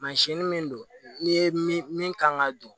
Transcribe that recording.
min don n'i ye min kan ka don